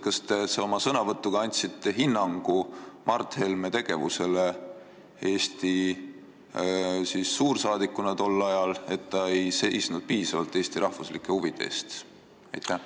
Kas te oma sõnavõtuga andsite hinnangu Mart Helme tegevusele Eesti suursaadikuna tol ajal, et ta ei seisnud piisavalt Eesti rahvuslike huvide eest?